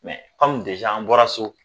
anw an bɔra so